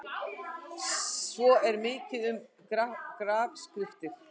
Svo er mikið um grafskriftir.